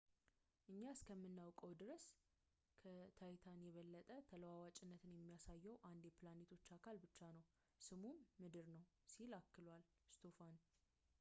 እኛ እስከምናውቀው ድረስ ከታይታን የበለጠ ተለዋዋጭነትን የሚያሳየው አንድ የፕላኔቶች አካል ብቻ ነው ስሙም ምድር ነው ሲል አክሏል ስቶፋን